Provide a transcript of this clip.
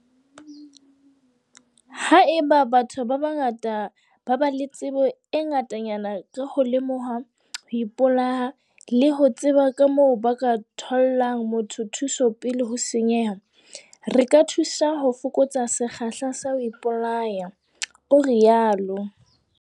Haeba batho ba bangata ba ba le tsebo e ngatanyana ka ho lemoha ho ipolaya le ho tseba kamoo ba ka thollang motho thuso pele ho senyeha, re ka thusa ho fokotsa sekgahla sa ho ipolaya, o rialo.